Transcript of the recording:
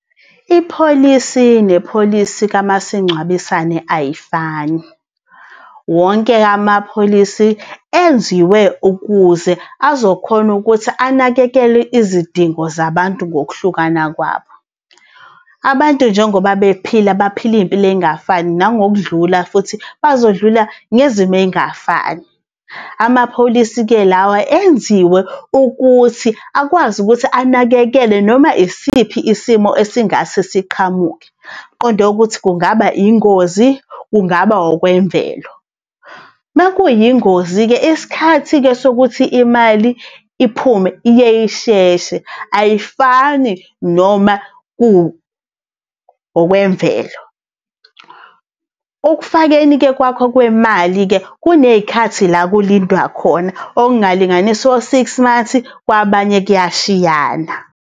Ipholisi nepholisi kamasingcwabisane ayifani. Wonke amapholisi enziwe ukuze azokhona ukuthi anakekele izidingo zabantu ngokuhlukana kwabo. Abantu njengoba bephila baphila iy'mpilo ey'ngafani, nangokudlula futhi bazodlula ngezimo ey'ngafani. Amapholisi-ke lawa enziwe ukuthi akwazi ukuthi anakekele noma isiphi isimo esingase siqhamuke, qonde ukuthi kungaba ingozi, kungaba okwemvelo. Makuyingozi-ke, isikhathi-ke sokuthi imali iphume yeyi sheshe, ayifani noma ku okwemvelo. Ukufakeni kwakho kwemali-ke kuney'khathi la kulindwa khona, okungalinganisa o-six months, kwabanye kuyashiyana.